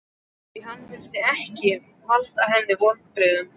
Því hann vildi ekki valda henni vonbrigðum.